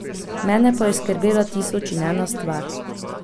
Mene pa je skrbela tisoč in ena stvar.